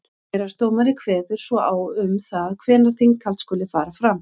héraðsdómari kveður svo á um það hvenær þinghald skuli fara fram